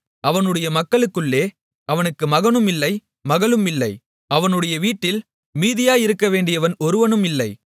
அவனுடைய மக்களுக்குள்ளே அவனுக்கு மகனும் இல்லை மகளும் இல்லை அவனுடைய வீட்டில் மீதியாயிருக்க வேண்டியவன் ஒருவனும் இல்லை